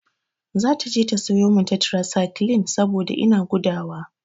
Zata je ta sayo min tetrasaiklin saboda ina gudawa.